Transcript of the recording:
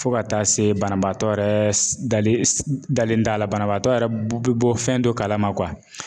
Fɔ ka taa se banabaatɔ yɛrɛ s dalen s dalen t'a la banabaatɔ yɛrɛ be be bɔ fɛn dɔ kalama kuwa